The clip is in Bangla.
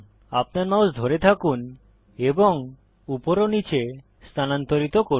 আপনার মাউস ধরে থাকুন এবং উপর ও নীচে স্থানান্তরিত করুন